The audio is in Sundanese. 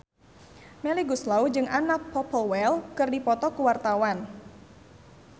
Melly Goeslaw jeung Anna Popplewell keur dipoto ku wartawan